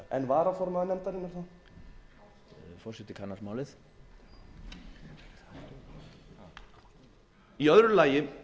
ásta möller hefur fjarvist í dag en varaformaður nefndarinnar þá forseti kannar málið í öðru lagi